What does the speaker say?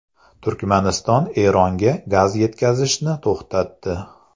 Turkmaniston Eronga gaz yetkazishni to‘xtatdi.